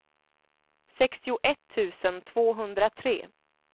sextioett tusen tvåhundratre